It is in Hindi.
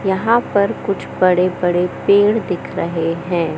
यहां पर कुछ बड़े बड़े पेड़ दिख रहे हैं।